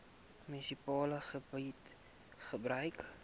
munisipale gebied gebruik